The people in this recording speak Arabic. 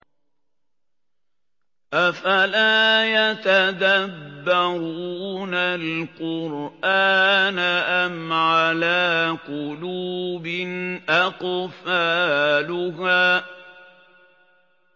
أَفَلَا يَتَدَبَّرُونَ الْقُرْآنَ أَمْ عَلَىٰ قُلُوبٍ أَقْفَالُهَا